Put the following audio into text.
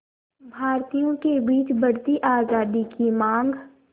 भारतीयों के बीच बढ़ती आज़ादी की मांग